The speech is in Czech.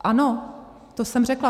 Ano, to jsem řekla.